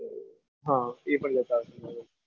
હા એ પણ લેતા આવશું.